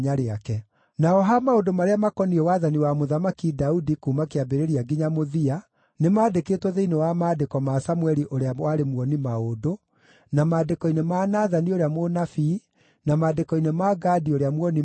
Naho ha maũndũ marĩa makoniĩ wathani wa Mũthamaki Daudi kuuma kĩambĩrĩria nginya mũthia, nĩmandĩkĩtwo thĩinĩ wa maandĩko ma Samũeli ũrĩa warĩ muoni-maũndũ, na maandĩko-inĩ ma Nathani ũrĩa mũnabii na maandĩko-inĩ ma Gadi ũrĩa muoni-maũndũ,